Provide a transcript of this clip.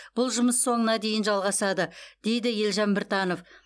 бұл жұмыс соңына дейін жалғасады дейді елжан біртанов